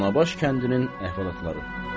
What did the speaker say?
Danabaş kəndinin əhvalatları.